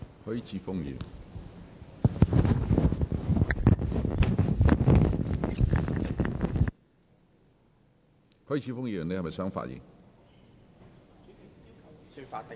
許智峯議員，你是否想發言？